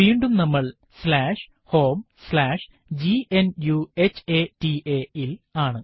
വീണ്ടും നമ്മൾ homegnuhata ൽ ആണ്